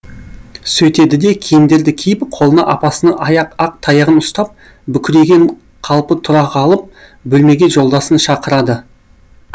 сөйтеді де киімдерді киіп қолына апасының ақ таяғын ұстап бүкірейген қалпы тұра қалып бөлмеге жолдасын шақырады